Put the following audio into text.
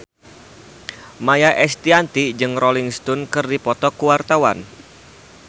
Maia Estianty jeung Rolling Stone keur dipoto ku wartawan